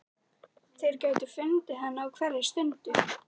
Þeir gætu fundið hana á hverri stundu.